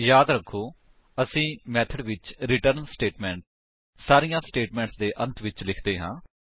ਯਾਦ ਰੱਖੋ ਅਸੀ ਮੇਥਡ ਵਿੱਚ ਰਿਟਰਨ ਸਟੇਟਮੇਂਟ ਸਾਰੀਆਂ ਸਟੇਟਮੇਂਟਸ ਦੇ ਅੰਤ ਵਿੱਚ ਲਿਖਦੇ ਹਾਂ